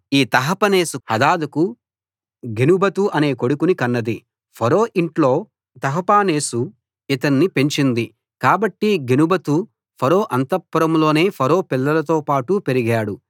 ఈ తహపనేసు సోదరి హదదుకు గెనుబతు అనే కొడుకుని కన్నది ఫరో ఇంట్లో తహపనేసు ఇతన్ని పెంచింది కాబట్టి గెనుబతు ఫరో అంతఃపురంలోనే ఫరో పిల్లలతోపాటు పెరిగాడు